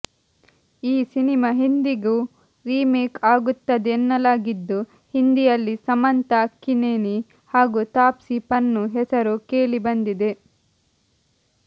ಈ ಸಿನಿಮಾ ಹಿಂದಿಗೂ ರಿಮೇಕ್ ಆಗುತ್ತದೆ ಎನ್ನಲಾಗಿದ್ದು ಹಿಂದಿಯಲ್ಲಿ ಸಮಂತಾ ಅಕ್ಕಿನೇನಿ ಹಾಗೂ ತಾಪ್ಸಿ ಪನ್ನು ಹೆಸರು ಕೇಳಿ ಬಂದಿದೆ